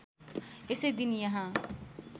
यसै दिन यहाँ